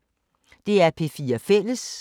DR P4 Fælles